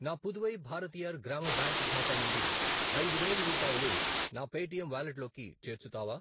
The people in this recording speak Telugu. నా పుదువై భారతీయర్ గ్రామ బ్యాంక్ ఖాతా నుండి ఐదు వేలు రూపాయలు నా పేటిఎమ్ వాలెట్లోకి చేర్చుతావా?